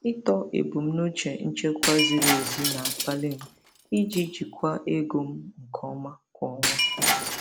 Ịtọ ebumnuche nchekwa ziri ezi na-akpali m iji jikwaa ego m nke ọma kwa ọnwa.